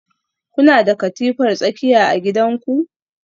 Kuna da katifar tsakiya a gidanku?